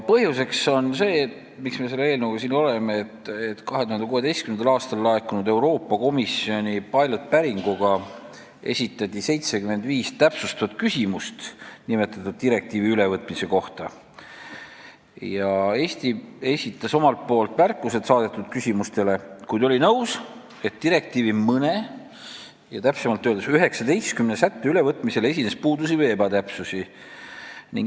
Põhjus, miks me selle eelnõuga siin oleme, on see, et 2016. aastal laekunud Euroopa Komisjoni Piloti päringuga saadeti nimetatud direktiivi ülevõtmise kohta 75 täpsustatud küsimust, mille kohta esitas Eesti omalt poolt märkused, kuid oli nõus, et direktiivi mõne, täpsemalt öeldes 19 sätte ülevõtmisel esines puudusi või ebatäpsusi.